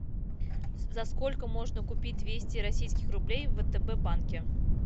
за сколько можно купить двести российских рублей в втб банке